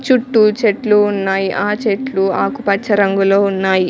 చుట్టూ చెట్లు ఉన్నాయి ఆ చెట్లు ఆకుపచ్చ రంగులో ఉన్నాయి.